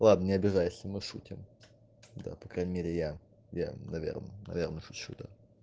ладно не обижайся мы шутим да по крайней мере я я наверное наверное шучу да